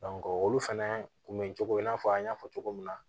olu fɛnɛ kun be cogo in na an y'a fɔ cogo min na